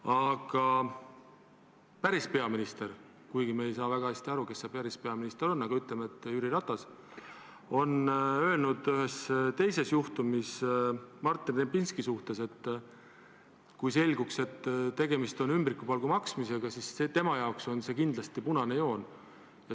Aga päris peaminister – kuigi me ei saa väga hästi aru, kes see päris peaminister on, aga ütleme, et Jüri Ratas – on öelnud ühes teises juhtumis Martin Repinski kohta, et kui selguks, et tegemist on ümbrikupalga maksmisega, siis tema jaoks on see kindlasti punane joon.